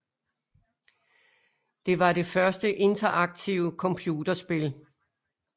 Det var det første interaktive computerspil